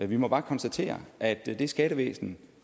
vi må bare konstatere at det skattevæsen